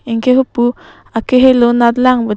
anke hupu akehelo nat lang putea--